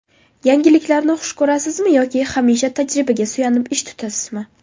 Yangiliklarni xush ko‘rasizmi yoki hamisha tajribaga suyanib ish tutasizmi?